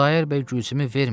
Xudayar bəy Gülsümü vermir.